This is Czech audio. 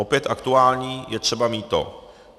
Opět aktuální je třeba mýto.